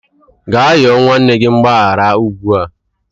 Gaa rịọ nwanne gị mgbaghara ugbu a!